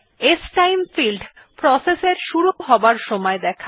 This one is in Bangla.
স্টাইম ফিল্ড প্রসেস এর শুরু হবার সময় দেখায়